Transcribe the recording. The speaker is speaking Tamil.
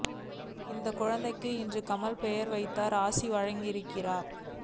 இந்த குழந்தைக்கு இன்று கமல் பெயர் வைத்து ஆசியும் வழங்கியிருக்கிறார்